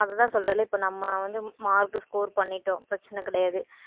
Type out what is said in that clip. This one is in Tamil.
அதுதான் சொல்றேன்ல இப்ப நம்ம வந்து mark score பண்ணிட்டோம். பிரச்சனை கிடையாது.